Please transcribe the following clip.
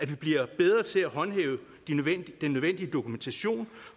vi bliver bedre til at håndhæve den nødvendige dokumentation